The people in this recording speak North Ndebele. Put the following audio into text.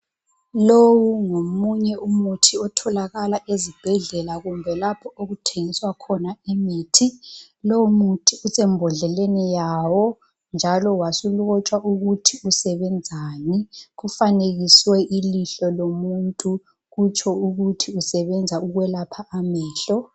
Lowu ngomunye umuthi otholakala ezibhedlela kumbe lapho okuthengiswa khona imithi. Lowumuthi usembodleleni yawo, njalo wasulotshwa ukuthi usebenzani. Kufanekiswe ilihlo lomuntu, kutsho ukuthi usebenza ukwelapha amehlo.